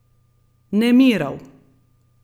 Nemirov.